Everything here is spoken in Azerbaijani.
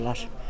Qonşudurlar.